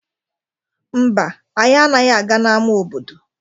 Mba, anyị anaghị aga n'ama obodo